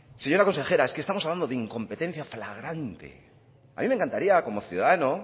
señora consejera es que estamos hablando de incompetencia flagrante a mí me encantaría como ciudadano